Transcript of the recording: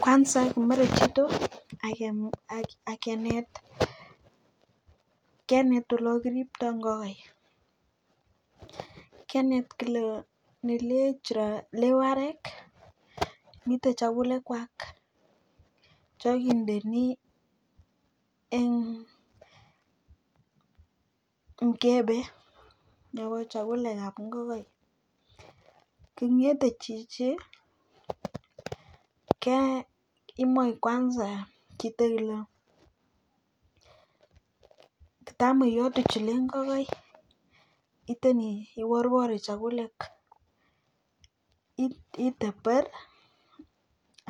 kwanza kimerechito akenet olo kiriptoi ngokaik kenet kole nelech kiro warek mitei chakulek kwak cho kindeni eng mkebe nebo chakulekab ngokaik kingete chichi kemach kimoik k kwanza kitoilong tam iyote chiloi ngokaik itoni iworwori chakulek iteber